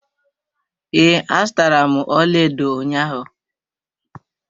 Ee, azụtara m ọlaedo ụnyaahụ.